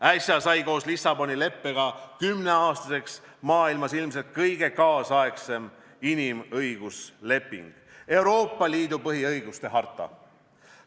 Äsja sai koos Lissaboni leppega kümneaastaseks maailmas ilmselt kõige nüüdisaegsem inimõigusleping, Euroopa Liidu põhiõiguste harta.